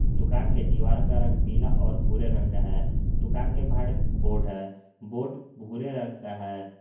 दुकान के दीवार का रंग पीला और भूरे रंग का है दुकान के बाहर एक बोर्ड है बोर्ड भूरे रंग का है।